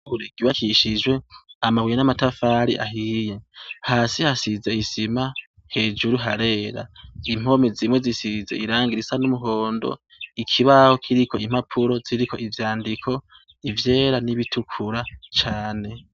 Ishure ryubakishijwe amabuye n'amatafari ahiye. Hasi hasize isima, Hejuru harera. Impome zimwe zisize irangi risa n'umuhondo , ikibaho kiriko impapuro ziriko ivyandiko, ivyera n'ibitukura cane.